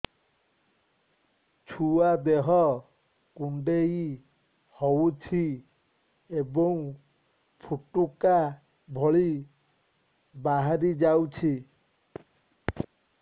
ଛୁଆ ଦେହ କୁଣ୍ଡେଇ ହଉଛି ଏବଂ ଫୁଟୁକା ଭଳି ବାହାରିଯାଉଛି